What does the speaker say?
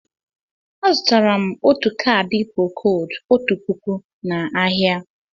Azụtara m ọtu caadi procóóld ọtu pụkụ na áhiá.